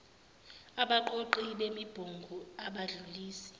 abaqoqi bemibungu abadlulisi